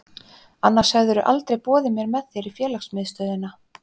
Annars hefðirðu aldrei boðið mér með þér í félagsmiðstöðina.